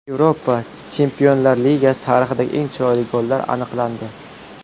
Yevropa Chempionlar Ligasi tarixidagi eng chiroyli gollar aniqlandi .